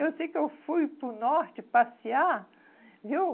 Eu sei que eu fui para o Norte passear, viu?